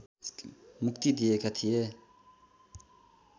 मुक्ति दिएका थिए